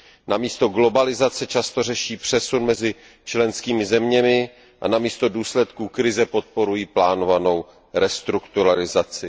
Namísto globalizace často řeší přesun mezi členskými zeměmi a namísto důsledků krize podporují plánovanou restrukturalizaci.